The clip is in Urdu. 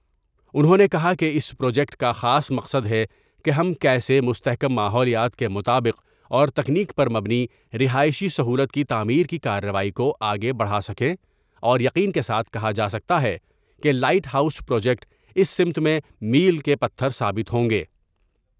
انھوں نے کہا کہ اس پروجیکٹ کا خاص مقصد ہے کہ ہم کیسے مستحکم ماحولیات کے مطابق اور تکنیک پر مبنی رہائشی سہولت کی تعمیر کی کارروائی کو آگے بڑھاسکیں اور یقین کے ساتھ کہا جا سکتا ہے کہ لائٹ ہاؤس پروجیکٹ اس سمت میں میل کے پتھر ثابت ہوں گے ۔